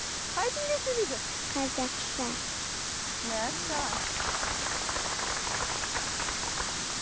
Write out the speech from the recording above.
қай тілде сөйлейді қазақша мәссаған